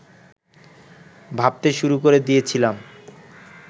ভাবতে শুরু করে দিয়েছিলাম